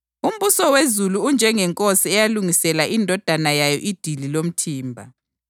“Umbuso wezulu unjengenkosi eyalungisela indodana yayo idili lomthimba.